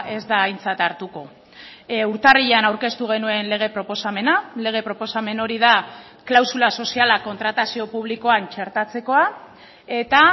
ez da aintzat hartuko urtarrilean aurkeztu genuen lege proposamena lege proposamen hori da klausula soziala kontratazio publikoan txertatzekoa eta